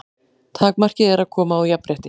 Takmarkið er að koma á jafnrétti.